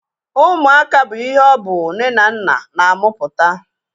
Ụmụaka bụ ihe ọ bụ nne na nna na-amụpụta